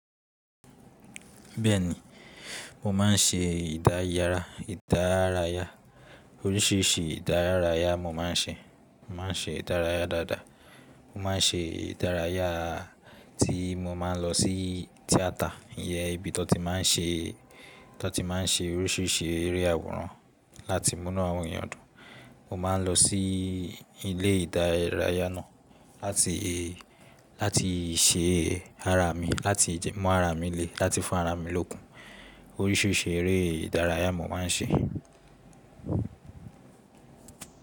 Bẹ́ẹ̀ni, mo máa ń ṣe ìdárayà, oríṣiríṣi ìdárayà mo máa ń ṣe. Mo máa ń ṣe ìdárayà dáadáa. Mo máa ń ṣe ìdárayà tí mo máa ń lọ sí tíátà, iyẹn ibi tí wọ́n ti má ń ṣe oríṣiríṣi eré àwòrán láti múnu àwọn èèyàn dùn. Mo máa ń lọ sí ilé ìdárayá náà láti ṣe ara mi, láti mú ara mi le, láti fún ara mi lókun. Oríṣiríṣi eré ìdárayá mo máa ń ṣe.